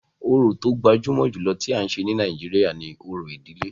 Orò tó gbajúmọ̀ jùlọ tí à ń ṣe ní Nàìjíríà ni òrò ìdílé.